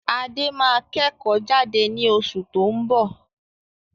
Adé máa kẹ́kò jade ni osù to n bọ̀